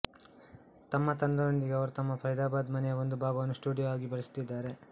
ತಮ್ಮ ತಂಡದೊಂದಿಗೆ ಅವರು ತಮ್ಮ ಫರಿದಾಬಾದ್ ಮನೆಯ ಒಂದು ಭಾಗವನ್ನು ಸ್ಟುಡಿಯೋ ಆಗಿ ಬಳಸುತ್ತಿದ್ದಾರೆ